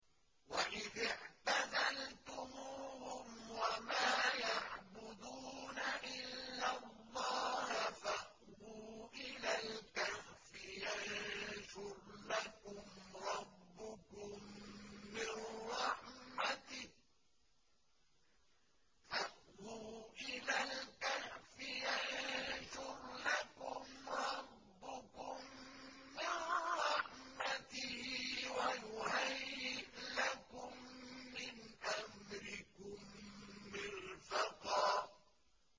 وَإِذِ اعْتَزَلْتُمُوهُمْ وَمَا يَعْبُدُونَ إِلَّا اللَّهَ فَأْوُوا إِلَى الْكَهْفِ يَنشُرْ لَكُمْ رَبُّكُم مِّن رَّحْمَتِهِ وَيُهَيِّئْ لَكُم مِّنْ أَمْرِكُم مِّرْفَقًا